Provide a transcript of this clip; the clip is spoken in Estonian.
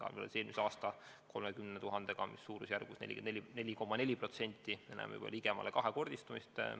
Võrreldes eelmise aasta 30 000-ga on kasv suur, me näeme juba ligemale kahekordistumist.